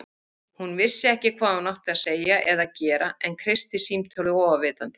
Hún vissi ekki hvað hún átti að segja eða gera en kreisti símtólið óafvitandi.